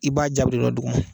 I b'a dugu ma